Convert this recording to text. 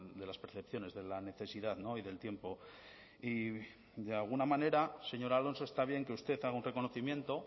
de las percepciones de la necesidad no y del tiempo y de alguna manera señor alonso está bien que usted haga un reconocimiento